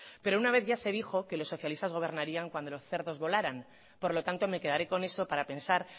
pero una vez ya se dijo que los socialistas gobernarían cuando los cerdos volaran por lo tanto me quedaré con eso para pensar